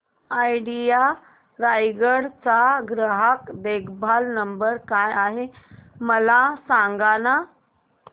idea Raigad चा ग्राहक देखभाल नंबर काय आहे मला सांगाना